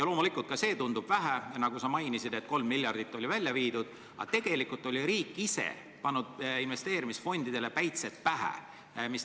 Loomulikult ka see tundub vähe – sa mainisid, et 3 miljardit on välja viidud –, aga tegelikult oli riik ise pannud investeerimisfondidele päitsed pähe.